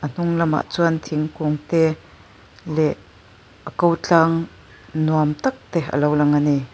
a hnung lamah chuan thingkung te leh a ko tlang nuam tak te alo lang ani.